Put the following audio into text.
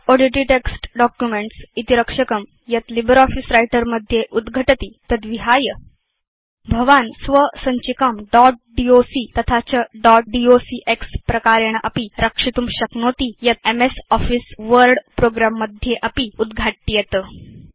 dot odt text documents इति रक्षकं यत् लिब्रियोफिस व्रिटर मध्ये उद्घटति तद्विहाय भवान् स्वसञ्चिकां दोत् docतथा च दोत् डॉक्स प्रकारेण अपि रक्षितुं शक्नोति यत् एमएस आफिस वर्ड प्रोग्रं मध्ये अपि उद्घाट्येत